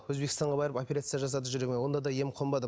өзбекстанға барып операция жасады жүрегіме онда да ем қонбады